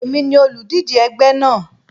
Èmi ni olùdíje ẹgbẹ́ náà.